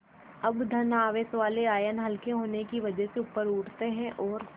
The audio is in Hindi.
अब धन आवेश वाले आयन हल्के होने की वजह से ऊपर उठते हैं और